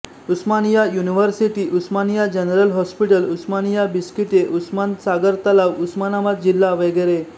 उस्मानिया university Osmania general hospital Osmania बिस्किटे उस्मान सागर तलाव उस्मानाबाद जिल्हा वगैरे